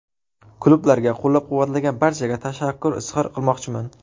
Klublarga, qo‘llab-quvvatlagan barchaga tashakkur izhor qilmoqchiman.